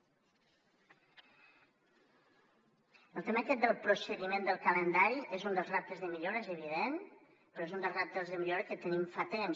el tema aquest del procediment del calendari és un dels reptes de millora és evident però és un dels reptes de millora que tenim fa temps